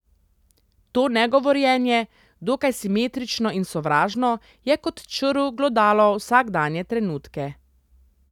To negovorjenje, dokaj simetrično in sovražno, je kot črv glodalo vsakdanje trenutke.